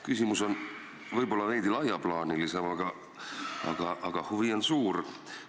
Küsimus on võib-olla veidi laiaplaanilisem, aga huvi on suur.